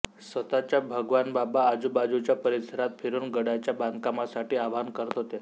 स्वतः भगवानबाबा आजूबाजूच्या परिसरात फिरून गडाच्या बांधकामासाठी आवाहन करत होते